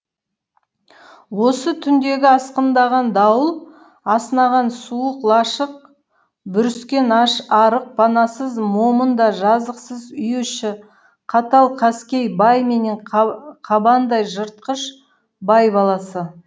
осы түндегі асқындаған дауыл азынаған суық лашық бүріскен аш арық панасыз момын да жазықсыз үй іші қатал қаскөй бай менен қабандай жыртқыш бай баласы